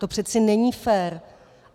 To přece není fér.